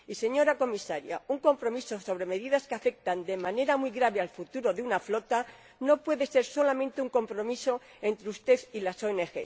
Señora Comisaria, un compromiso sobre medidas que afectan de manera muy grave al futuro de una flota no puede ser solamente un compromiso entre usted y las ONG.